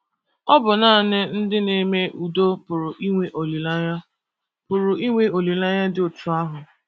Ọ bụ nanị ndị na - eme udo pụrụ inwe olileanya pụrụ inwe olileanya dị otú ahụ.